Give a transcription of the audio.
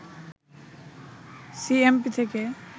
CMP থেকে